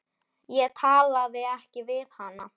Ég talaði ekki við hana.